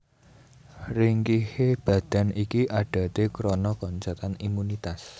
Ringkihe badan iki adaté krana koncatan imunitas